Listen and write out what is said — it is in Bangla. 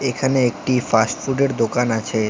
এখানে একটি ফাস্টফুডের দোকান আছে।